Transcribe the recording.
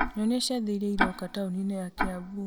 nyonia ciathĩ iria iroka taũni-inĩ ya kiambu